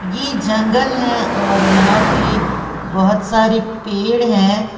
ये जंगल है और यहां पे बहुत सारी पेड़ है।